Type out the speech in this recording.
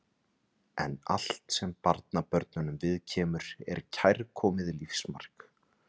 En allt sem barnabörnunum viðkemur er kærkomið lífsmark.